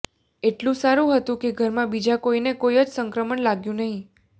એટલું સારું હતું કે ઘરમાં બીજા કોઈને કોઈ જ સંક્રમણ લાગ્યું નહીં